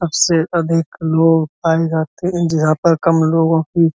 सबसे अधिक लोग पाए जाते हैं इन जगहो पर कम लोगों की --